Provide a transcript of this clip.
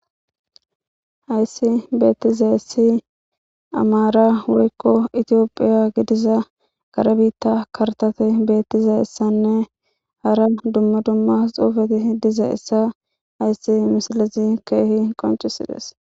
ayssi beettizaissi amaara wurikko etiyophiya gidiza gare biitta kartate beettizeessanne hara dumma dumma xuufeti diza issa ayssi misilezi keehi qoncisides